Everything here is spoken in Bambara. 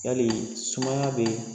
Yali sumaya be